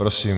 Prosím.